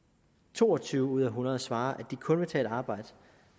to og tyve ud af hundrede svarer at de kun vil tage et arbejde